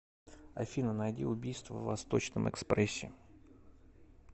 афина найди убийство в восточном экспрессе